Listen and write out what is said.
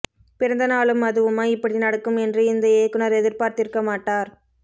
பிறந்தநாளும் அதுவுமா இப்படி நடக்கும் என்று இந்த இயக்குனர் எதிர்பார்த்திருக்க மாட்டார்